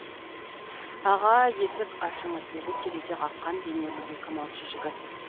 аға есік ашыңыз деді терезе қаққан денелі екі малшы жігіт